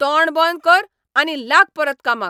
तोंड बंद कर आनी लाग परत कामाक!